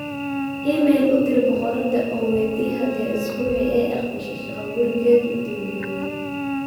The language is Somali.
iimayl u dir boqoradda oo weydii haddii usbuucii ay aqbashay shaqa-gurigeedii u dambeeyay